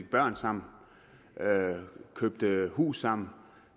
børn sammen køber hus sammen